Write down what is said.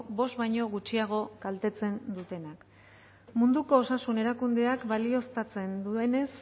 bost baino gutxiago kaltetzen dutenak munduko osasun erakundeak balioztatzen duenez